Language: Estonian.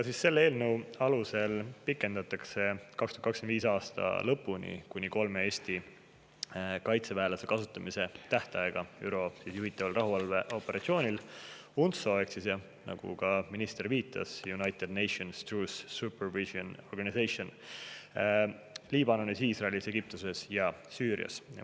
Selle eelnõu alusel pikendatakse 2025. aasta lõpuni kuni kolme Eesti kaitseväelase kasutamise tähtaega ÜRO juhitaval rahuvalveoperatsioonil UNTSO – ehk siis, nagu ka minister viitas, United Nations Truce Supervision Organization – Liibanonis, Iisraelis, Egiptuses ja Süürias.